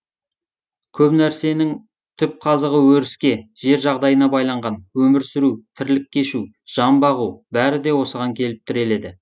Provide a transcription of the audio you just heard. көп нәрсенің түп қазығы өріске жер жағдайына байланған өмір сүру тірлік кешу жан бағу бәрі де осыған келіп тіреледі